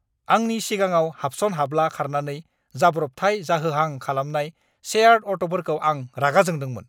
आंनि सिगाङाव हाबसन-हाब्ला खारनानै जाब्रबथाय जाहोहां खालामनाय शेयार्ड अट'फोरखौ आं रागा जोंदोंमोन!